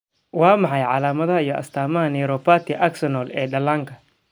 Waa maxay calaamadaha iyo astaamaha neuropathy axonal ee dhallaanka?